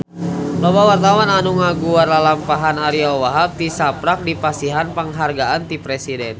Loba wartawan anu ngaguar lalampahan Ariyo Wahab tisaprak dipasihan panghargaan ti Presiden